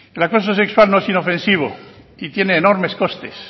el acoso sexual no es inofensivo y tiene enormes costes